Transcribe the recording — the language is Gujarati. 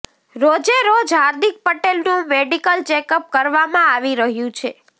રોજે રોજ હાર્દિક પટેલનું મેડિકલ ચેકઅપ કરવામાં આવી રહ્યું છે